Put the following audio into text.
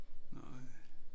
Nej